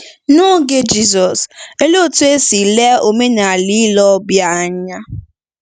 N’oge Jizọs, olee otú e si lee omenala ile ọbịa anya?